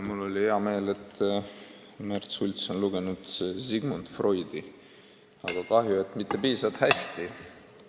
Mul oli hea meel, et Märt Sults on lugenud Sigmund Freudi, aga kahju, et mitte piisavalt hästi.